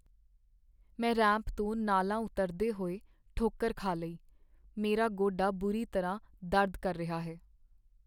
ਮੈਂ ਰੈਂਪ ਤੋਂ ਨਾਲਾਂ ਉਤਰਦੇ ਹੋਏ ਠੋਕਰ ਖਾ ਲਈ। ਮੇਰਾ ਗੋਡਾ ਬੁਰੀ ਤਰ੍ਹਾਂ ਦਰਦ ਕਰ ਰਿਹਾ ਹੈ।